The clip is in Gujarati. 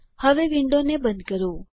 હવે આ વિન્ડોને બંધ કરો